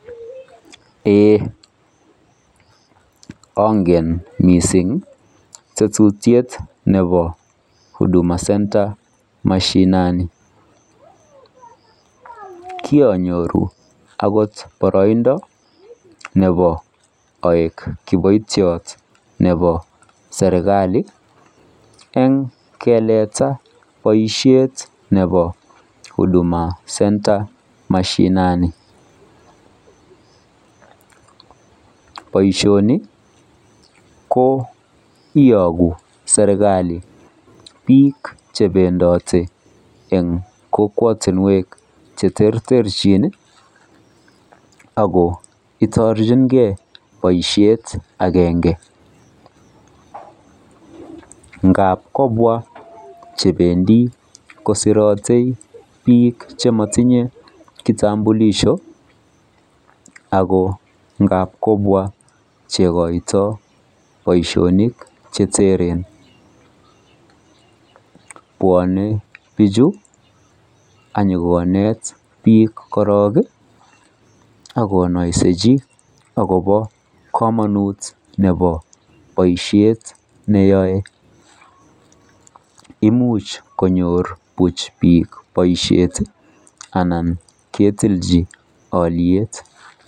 Eeeh ongen mising tetutiet nebo huduma center mashinani kironyoru akot baroindo nebo aek kiboityeot nebo sereikali en keleta boishet nebo huduma center mashinani boishoni ko iyogu sereikali bik chebendote en kokwotunwek cheterterchin ako itorchin gei boishet agenge ngab kobwa chebendi kosirote bik chemotinye kitambulisho ako ngab kobwa chokoito boishonik cheteren beonen bik chu akonyo konet bik korong ako komonut boishet neyoe imuch konyor bik boishet Alan ketinji oliet